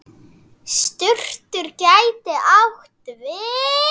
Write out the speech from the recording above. Surtur gæti átt við